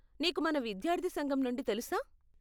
నీకు మన విద్యార్ధి సంఘం నుండి తెలుసా?